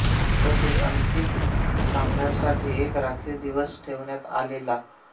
तसेच अंतिम सामन्यासाठी एक राखीव दिवस ठेवण्यात आलेला